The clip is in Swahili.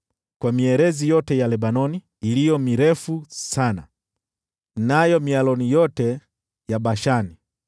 kwa mierezi yote ya Lebanoni iliyo mirefu sana, na mialoni yote ya Bashani,